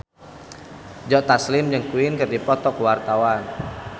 Joe Taslim jeung Queen keur dipoto ku wartawan